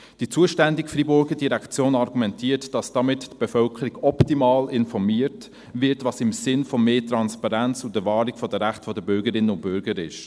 Die zuständige Freiburger Direktion argumentiert, dass damit die Bevölkerung optimal informiert wird, was im Sinne von mehr Transparenz und der Wahrung der Rechte der Bürgerinnen und Bürger ist.